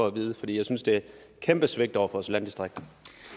at vide for jeg synes det er et kæmpe svigt over for vores landdistrikter